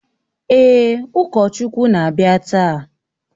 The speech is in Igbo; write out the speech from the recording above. Èè, ụkọchukwu na-abịa taa